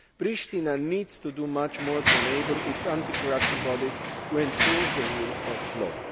Pristina needs to do much more to enable its anti corruption bodies to enforce the rule of law.